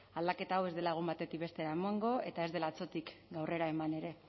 aldaketa hau ez dela egun batetik bestera emango eta ez dela atzotik gaurrera eman ere